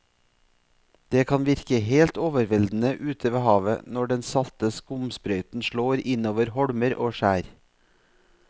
Det kan virke helt overveldende ute ved havet når den salte skumsprøyten slår innover holmer og skjær.